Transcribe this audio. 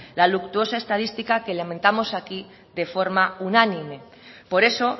la luctuosa estadística que lamentamos aquí de forma unánime por eso